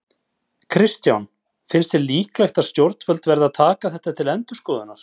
Kristján: Finnst þér líklegt að stjórnvöld verði að taka þetta til endurskoðunar?